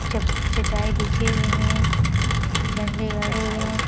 चप-चटाई बिछे हुए है झंडे गड़े हुए है।